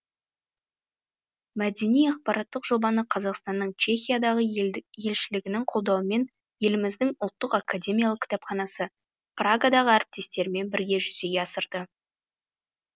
мәдени ақпараттық жобаны қазақстанның чехиядағы елшілігінің қолдауымен еліміздің ұлттық академиялық кітапханасы прагадағы әріптестерімен бірге жүзеге асырды